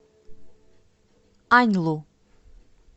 аньлу